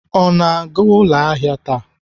Ọ na-aga ụlọ ahịa taa?